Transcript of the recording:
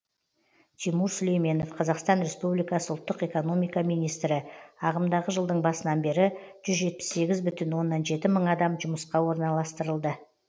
тимур сүлейменов қазақстан республикасы ұлттық экономика министрі ағымдағы жылдың басынан бері жүз жетпіс сегіз мың оннан жеті адам жұмысқа орналастырылды